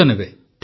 ଠିକ୍ ଅଛି ସାର୍